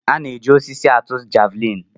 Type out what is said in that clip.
A na-eji osisi atụ javelin.